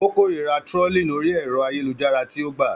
Ó kórìíra trolling orí ẹ̀rọ ayélujára tí ó gbà.